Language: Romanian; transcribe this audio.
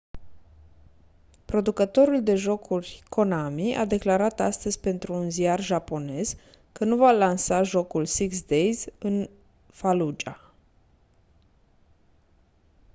producătorul de jocuri konami a declarat astăzi pentru un ziar japonez că nu va lansa jocul six days in fallujah